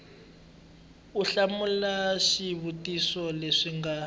u hlamula xivutiso lexi nga